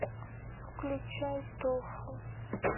включай тофу